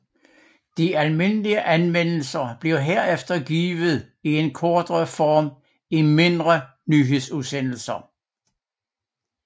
De almindelige anmeldelser blev herefter givet i en kortere form i mindre nyhedsudsendelser